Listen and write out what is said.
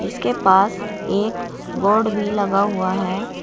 इसके पास एक बोर्ड भी लगा हुआ है।